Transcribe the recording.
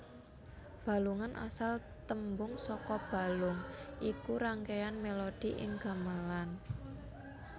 Balungan asal tembung saka balung iku rangkeyan melodi ing gamelan